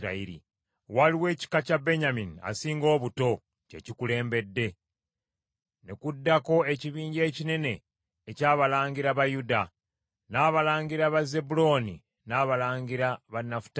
Waliwo ekika kya Benyamini asinga obuto kye kikulembedde, ne kuddako ekibinja ekinene eky’abalangira ba Yuda, n’abalangira ba Zebbulooni n’abalangira ba Nafutaali.